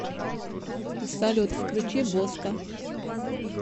салют включи боска